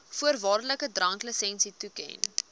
voorwaardelike dranklisensie toeken